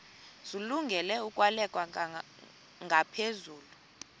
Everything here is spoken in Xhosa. zilungele ukwalekwa ngaphezulu